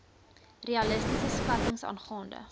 realistiese skattings aangaande